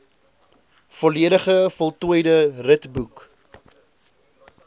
volledig voltooide ritboek